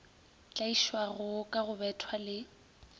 tlaišwago ka go bethwa le